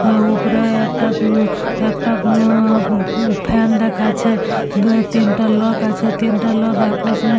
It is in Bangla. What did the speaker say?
হা ওপরে একটা উমম কোনো একটা ব্ব্ব ফ্যান দেখাচ্ছে দুতিনটা লোক আছে তিনটে লোক আপস মে।